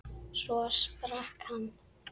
Svo sprakk hann.